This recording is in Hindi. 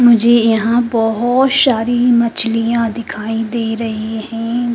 मुझे यहां बहोत सारी मछलियां दिखाई दे रही है।